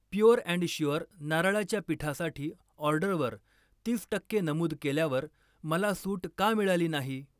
Pure and sure नारळाच्या पीठासाठी ऑर्डरवर तीस टक्के नमूद केल्यावर मला सूट का मिळाली नाही?